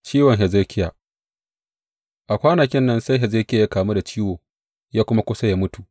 Ciwon Hezekiya A kwanakin nan sai Hezekiya ya kamu da ciwo ya kuma kusa ya mutu.